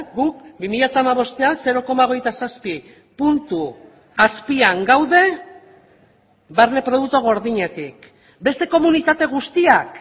guk bi mila hamabostean zero koma hogeita zazpi puntu azpian gaude barne produktu gordinetik beste komunitate guztiak